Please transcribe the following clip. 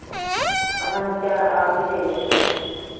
ਸਾਨੂੰ ਤੇ ਆਪ ਹੀ ਦੇ ਗਏ ਸੀ ਹਾਂਜੀ।